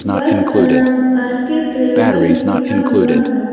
बस का नाम आर_के ट्रैवल्स लिखा हुआ है।